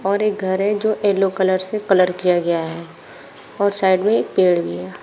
और एक घर है जो येलो कलर से कलर किया गया है और साइड में एक पेड़ भी है।